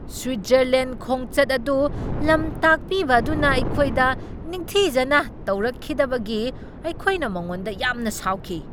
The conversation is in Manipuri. ꯁ꯭ꯋꯤꯠꯖꯔꯂꯦꯟ ꯈꯣꯡꯆꯠ ꯑꯗꯨ ꯂꯝꯇꯥꯛꯄꯤꯕ ꯑꯗꯨꯅ ꯑꯩꯈꯣꯏꯗ ꯅꯤꯡꯊꯤꯖꯅ ꯇꯧꯔꯛꯈꯤꯗꯕꯒꯤ ꯑꯩꯈꯣꯏꯅ ꯃꯉꯣꯟꯗ ꯌꯥꯝꯅ ꯁꯥꯎꯈꯤ ꯫